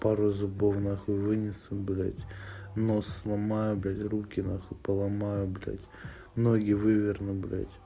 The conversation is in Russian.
пару зубов нахуй вынесу блять нос сломаю блять руки нахуй поломаю блять ноги выверну блять